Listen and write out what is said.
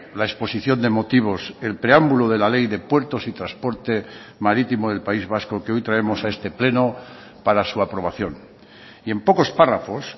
la exposición de motivos el preámbulo de la ley de puertos y transporte marítimo del país vasco que hoy traemos a este pleno para su aprobación y en pocos párrafos